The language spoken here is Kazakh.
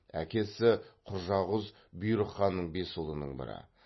әкесі құжағұз бұйрық ханның бес ұлының бірі